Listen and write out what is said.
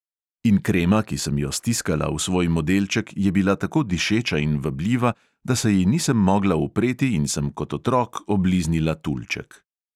In krema, ki sem jo stiskala v svoj modelček, je bila tako dišeča in vabljiva, da se ji nisem mogla upreti in sem kot otrok obliznila tulček.